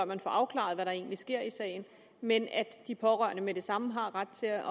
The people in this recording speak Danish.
man får afklaret hvad der egentlig sker i sagen men at de pårørende med det samme har ret til at